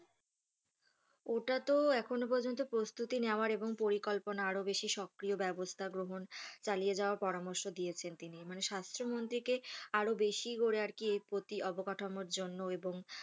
ওটা তো এখনও পর্যন্ত প্রস্তুতি নেওয়ার এবং পরিকল্পনা আরও বেশি সক্রিয় ব্যবস্থা গ্রহণ চালিয়ে যাওয়ার পরামর্শ দিয়েছেন তিনি, মানে স্বাস্থ্যমন্ত্রীকে আরও বেশি করে আরকি এর প্রতি অবকাঠামোর জন্য এবং,